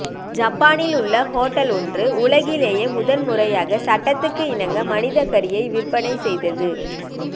ஜப்பானில் உள்ள ஹோட்டல் ஒன்று உலகிலேயே முதல்முறையாக சட்டத்துக்கு இணங்க மனித கறியை விற்பனை செய்தது